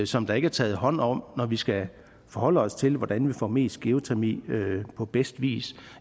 som der ikke er taget hånd om når vi skal forholde os til hvordan vi får mest geotermi på bedst vis